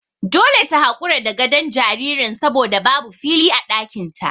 Dole ta hakura da gadon jaririn saboda babu fili a ɗakin ta.